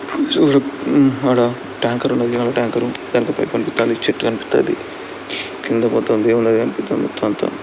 చూడు ఊ ఆడ ట్యాంకర్ ఉన్నది. నీళలా ట్యాంకరు దానికో పైపు కనిపిస్తండి. చెట్టు కనిపిస్తండి కింద మొత్తం దేవుల్లది కనిపిస్తోంది మొత్తం అంతా.